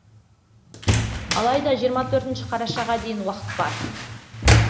алайда жиырма төртінші қарашаға дейін уақыт бар